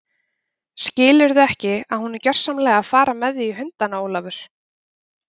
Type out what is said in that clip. Skilurðu ekki að hún er gjörsamlega að fara með þig í hundana, Ólafur?